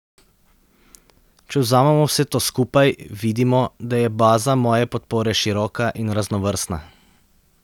Če vzamemo vse to skupaj, vidimo, da je baza moje podpore široka in raznovrstna.